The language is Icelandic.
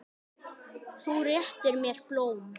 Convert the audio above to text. Þú réttir mér blóm.